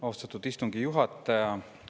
Austatud istungi juhataja!